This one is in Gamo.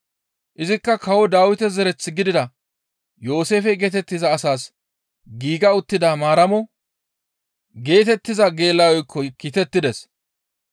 Izikka kawo Dawite zereth gidida Yooseefe geetettiza asas giiga uttida Maaramo geetettiza geela7oykko kiitettides.